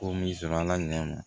Ko min sɔn ala ɲɛ ma